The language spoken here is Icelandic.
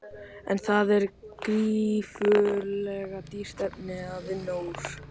En það er gífurlega dýrt efni að vinna úr.